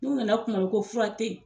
N'u nana tumabɛ ko furatɛ